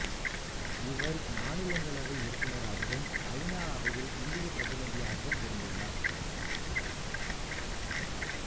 இவர் மாநிலங்களவை உறுப்பினராகவும் ஐ நா அவையில் இந்தியப் பிரதிநிதியாகவும் இருந்துள்ளார்